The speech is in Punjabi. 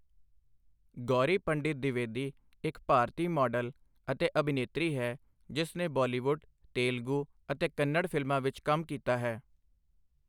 ਗੌਰੀ ਪੰਡਿਤ ਦਿਵੇਦੀ, ਇੱਕ ਭਾਰਤੀ ਮਾਡਲ ਅਤੇ ਅਭਿਨੇਤਰੀ ਹੈ ਜਿਸ ਨੇ ਬਾਲੀਵੁੱਡ, ਤੇਲਗੂ ਅਤੇ ਕੰਨੜ ਫਿਲਮਾਂ ਵਿੱਚ ਕੰਮ ਕੀਤਾ ਹੈ।